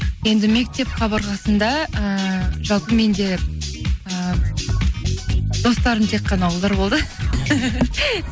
енді мектеп қабырғасында ыыы жалпы менде і достарым тек қана ұлдар болды